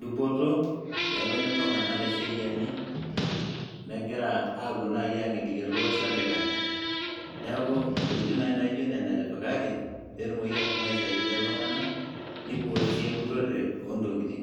dupoto peetoni iltung'anak teseriani, megira aapuo naaji aang'eliki ele osho olikai. Neeku ntokitin naaji naijo nena etipikaki peetumoki aashom aisaidia iltung'anak neiboori sii empurrore oontokitin.